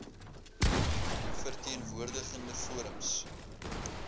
verteen woordigende forums